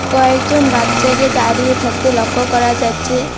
কয়েকজন বাচ্চাকে দাঁড়িয়ে থাকতে লক্ষ্য করা যাচ্ছে।